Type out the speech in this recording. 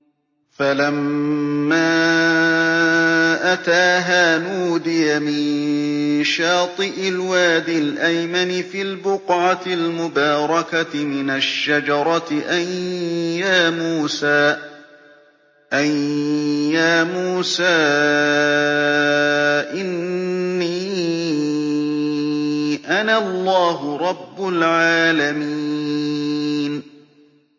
فَلَمَّا أَتَاهَا نُودِيَ مِن شَاطِئِ الْوَادِ الْأَيْمَنِ فِي الْبُقْعَةِ الْمُبَارَكَةِ مِنَ الشَّجَرَةِ أَن يَا مُوسَىٰ إِنِّي أَنَا اللَّهُ رَبُّ الْعَالَمِينَ